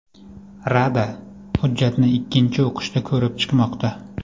Rada hujjatni ikkinchi o‘qishda ko‘rib chiqmoqda.